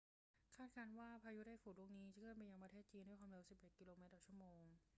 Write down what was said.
คาดการณ์ว่าพายุไต้ฝุ่นลูกนี้จะเคลื่อนไปยังประเทศจีนด้วยความเร็ว 11 กิโลเมตรต่อชั่วโมง